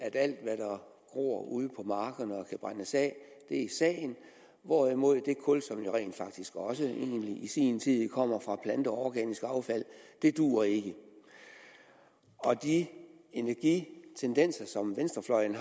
at alt hvad der gror ude på markerne og kan brændes af er sagen hvorimod det kul som jo rent faktisk også i sin tid kom fra planteorganisk affald ikke duer ikke duer de energitendenser som venstrefløjen